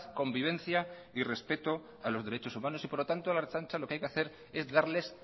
convivencia y respeto a los derechos humanos y por lo tanto la ertzaintza lo que hay que hacer es darles